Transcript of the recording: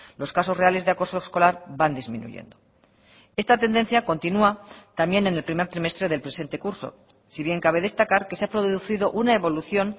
los casos reales de acoso escolar van disminuyendo esta tendencia continua también en el primer trimestre del presente curso si bien cabe destacar que se ha producido una evolución